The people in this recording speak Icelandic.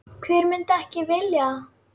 Hver myndi ekki vilja það?